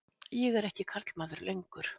Ég er ekki karlmaður lengur.